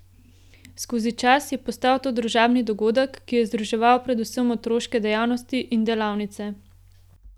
Skozi čas je postal to družabni dogodek, ki je združeval predvsem otroške dejavnosti in delavnice.